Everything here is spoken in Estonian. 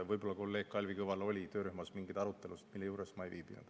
Võib-olla kolleeg Kalvi Kõval oli töörühmas mingeid arutelusid, mille juures ma ei viibinud.